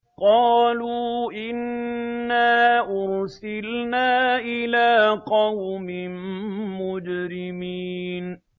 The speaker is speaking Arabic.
قَالُوا إِنَّا أُرْسِلْنَا إِلَىٰ قَوْمٍ مُّجْرِمِينَ